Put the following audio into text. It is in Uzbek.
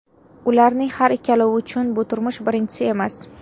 Ularning har ikkalovi uchun bu turmush birinchisi emas.